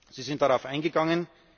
Sie sind darauf eingegangen.